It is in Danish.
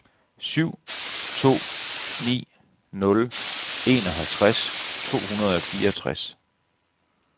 syv to ni nul enoghalvtreds to hundrede og fireogtres